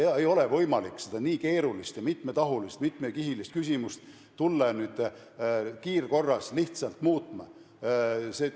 Ei ole võimalik hakata seda nii keerulist ja mitmetahulist, mitmekihilist küsimust nüüd kiirkorras lihtsalt muutma.